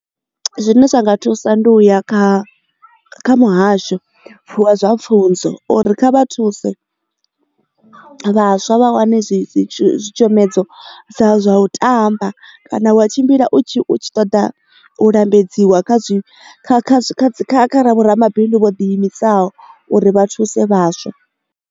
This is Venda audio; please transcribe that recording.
Zwine zwa nga thusa ndi uya kha muhasho wa zwa pfunzo uri kha vha thuse vhaswa vha wane zwi dzitshomedzo dza sa zwa u ṱamba kana wa tshimbila u tshi ṱoḓa u lambedziwa kha zwi vhoramabindu vho ḓi imisaho uri vha thuse vhaswa.